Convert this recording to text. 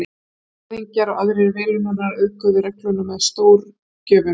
Þjóðhöfðingjar og aðrir velunnarar auðguðu regluna með stórgjöfum.